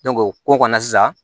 o ko kɔni sisan